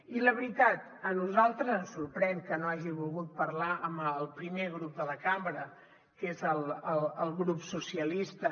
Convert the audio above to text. i la veritat a nosaltres ens sorprèn que no hagi volgut parlar amb el primer grup de la cambra que és el grup socialistes